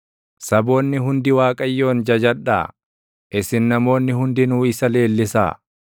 Saboonni hundi Waaqayyoon jajadhaa; isin namoonni hundinuu isa leellisaa.